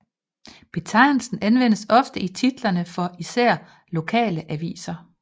Betegnelsen anvendes ofte i titlerne for især lokale aviser